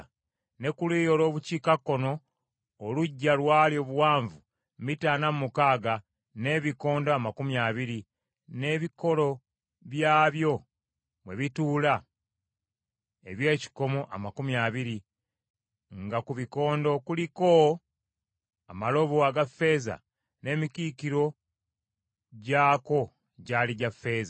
Ne ku luuyi olw’obukiikakkono oluggya lwali obuwanvu mita ana mu mukaaga, n’ebikondo amakumi abiri, n’ebikolo byabyo mwe bituula eby’ekikomo amakumi abiri, nga ku bikondo kuliko amalobo aga ffeeza n’emikiikiro gyako gyali gya ffeeza.